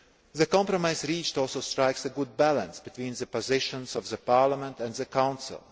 The compromise reached also strikes a good balance between the positions of Parliament and the Council.